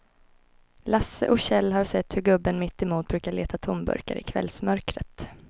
Lasse och Kjell har sett hur gubben mittemot brukar leta tomburkar i kvällsmörkret.